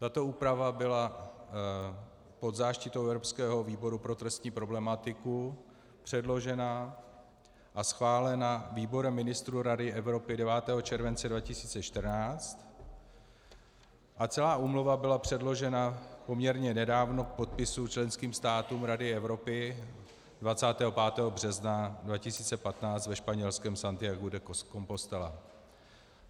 Tato úprava byla pod záštitou evropského výboru pro trestní problematiku předložena a schválena výborem ministrů Rady Evropy 9. července 2014 a celá úmluva byla předložena poměrně nedávno k podpisu členským státům Rady Evropy 25. března 2015 ve španělském Santiagu de Compostela.